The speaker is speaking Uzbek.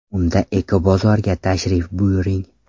Unda Ekobozorga tashrif buyuring!